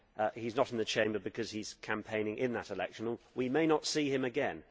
He is not in the Chamber because he is campaigning in that election and we may not see him again.